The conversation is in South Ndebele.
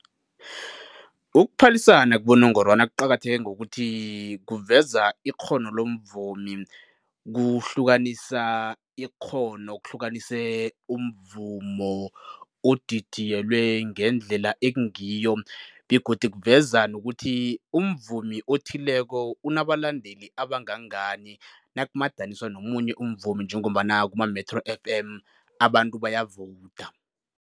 Ukuphalisana kubonongorwana kuqakatheke ngokuthi kuveza ikghono lomvumi, kuhlukanisa ikghono, kuhlukanise umvumo odidiyelwe ngendlela ekungiyo begodu kuveza nokuthi umvumi othileko unabalandeli abangangani nakumadaniswa nomunye umvumi njengombana kuma-Metro F_M abantu bayavowuda.